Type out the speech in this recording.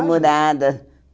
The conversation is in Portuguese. Demorada.